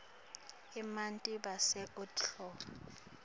emanti bese utfoba